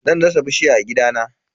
Zan dasa bishiya a gidana.